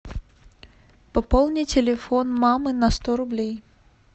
пополни телефон мамы на сто рублей